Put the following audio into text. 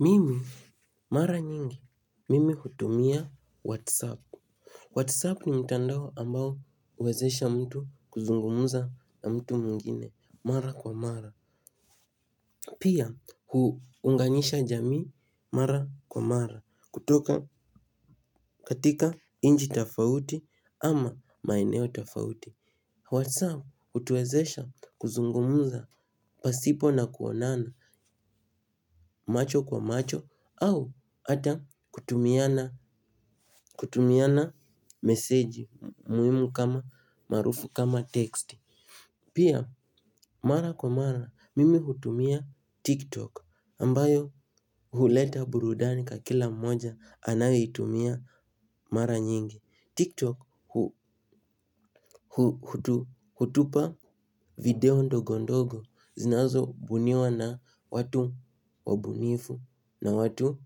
Mimi, mara nyingi, mimi hutumia Whatsapp. Whatsapp ni mtandao ambao huwezesha mtu kuzungumza na mtu mwingine, mara kwa mara. Pia, huunganisha jamii mara kwa mara, kutoka katika nchi tofauti ama maeneo tofauti. WhatsApp hutuwezesha kuzungumza pasipo na kuonana macho kwa macho au ata kutumiana meseji muhimu kama marufu kama teksti. Pia mara kwa mara mimi hutumia TikTok ambayo huleta burudani kwa kila mmoja anayeitumia mara nyingi TikTok hutupa video ndogo ndogo zinazo buniwa na watu wabunifu na watu